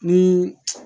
Ni